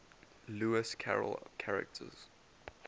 lewis carroll characters